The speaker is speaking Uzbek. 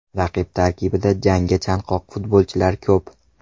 Raqib tarkibida jangga chanqoq futbolchilar ko‘p.